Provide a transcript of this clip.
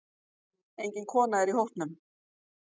Engin kona er í hópnum.